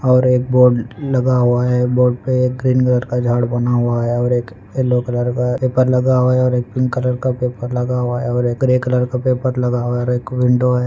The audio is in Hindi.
और एक बोर्ड लगा हुआ है बोर्ड पे एक ग्रीन कलर का झाड़ बना हुआ है और एक येल्लो कलर का पेपर लगा हुआ है और एक पिंक कलर का पेपर लगा हुआ है और एक ग्रे कलर का पेपर लगा हुआ है एक विंडो है।